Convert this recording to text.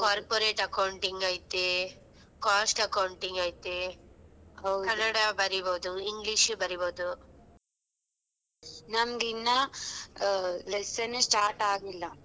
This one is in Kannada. Corporate Accounting ಐತಿ , Cost Accounting ಐತಿ, ಕನ್ನಡ ಬರಿ ಬಹುದು English ಬರಿ ಬಹುದು ನಮ್ದ್ ಇನ್ನ lesson ನ್ನೇ start ಆಗ್ಲಿಲ್ಲ.